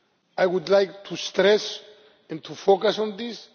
I would like to stress and to focus on this.